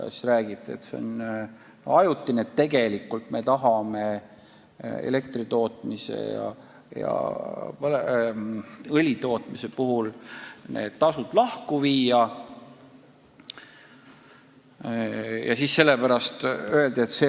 Ja siis räägiti, et see on ajutine, et tegelikult me tahame need tasud elektri tootmise ja õli tootmise puhul lahku viia.